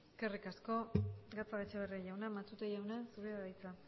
eskerrik asko gatzagaetxebarria jauna matute jauna zurea da hitza